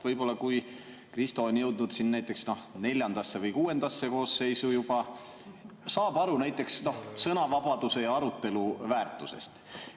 Võib-olla, kui Kristo on jõudnud juba neljandasse või kuuendasse koosseisu, saab ta aru näiteks sõnavabaduse ja arutelu väärtusest.